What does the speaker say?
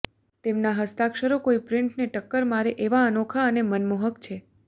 તેમના હસ્તાક્ષરો કોઈ પ્રિન્ટને ટક્કર મારે એવા અનોખા અને મનમોહક છે